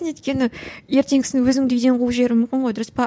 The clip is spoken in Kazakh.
өйткені ертеңгісін өзіңді үйден қуып жіберуі мүмкін ғой дұрыс па